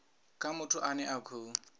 kha muthu ane a khou